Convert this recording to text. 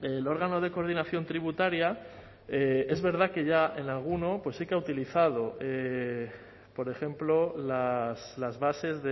el órgano de coordinación tributaria es verdad que ya en alguno pues sí que ha utilizado por ejemplo las bases